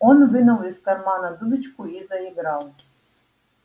он вынул из кармана дудочку и заиграл